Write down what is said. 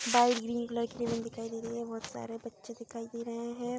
Bite green colour की दिखाइ दे रही है। बहुत सारे बच्चे दिखाई दे रहे हैं।